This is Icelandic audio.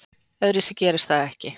Öðruvísi gerist það ekki.